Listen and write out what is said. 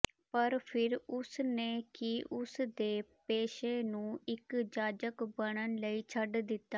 ਪਰ ਫਿਰ ਉਸ ਨੇ ਕਿ ਉਸ ਦੇ ਪੇਸ਼ੇ ਨੂੰ ਇੱਕ ਜਾਜਕ ਬਣਨ ਲਈ ਛੱਡ ਦਿੱਤਾ